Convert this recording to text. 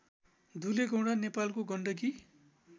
दुलेगौंडा नेपालको गण्डकी